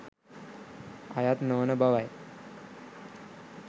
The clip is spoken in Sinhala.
අයත් නොවන බවයි